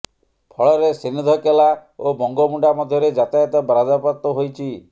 ଫଳରେ ସିନେ୍ଧକେଲା ଓ ବଙ୍ଗୋମୁଣ୍ଡା ମଧ୍ୟରେ ଯାତାୟତ ବାଧାପ୍ରାପ୍ତ ହୋଇଛି